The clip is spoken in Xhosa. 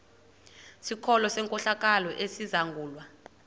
sikolo senkohlakalo esizangulwa